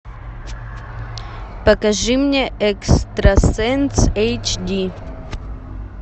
покажи мне экстрасенс эйч ди